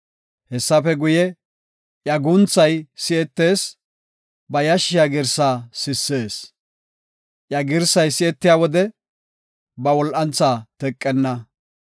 Hessafe guye, iya guunthay si7etees; ba yashshiya girsaa sissees. Iya girsay si7etiya wode, ba wol7antha teqenna.